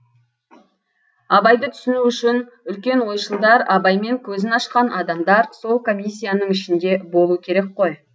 абайды түсіну үшін үлкен ойшылдар абаймен көзін ашқан адамдар сол комиссияның ішінде болу керек қой